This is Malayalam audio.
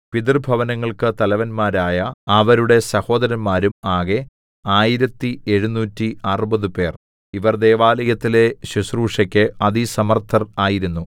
പിതൃഭവനങ്ങൾക്കു തലവന്മാരായ അവരുടെ സഹോദരന്മാരും ആകെ ആയിരത്തി എഴുനൂറ്റി അറുപത്പേർ ഇവർ ദൈവാലയത്തിലെ ശുശ്രൂഷക്ക് അതിസമർത്ഥർ ആയിരുന്നു